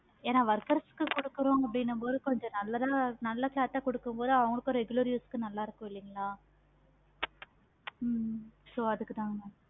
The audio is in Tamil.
ஏன workers கொடுக்குறோம் போது கொஞ்சம் நல்லதா கொடுக்கும் போது அவங்களுக்கு regular use க்கு நல்ல இருக்கும் இல்லைங்களா ஹம் so அதுக்கு தான்